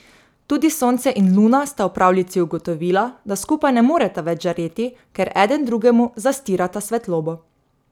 Tudi sonce in luna sta v pravljici ugotovila, da skupaj ne moreta več žareti, ker eden drugemu zastirata svetlobo.